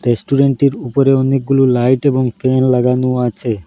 রেস্টুরেন্টটির উপরে অনেকগুলো লাইট এবং ফ্যান লাগানো আছে।